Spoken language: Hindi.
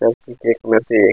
सबकी केक में से एक--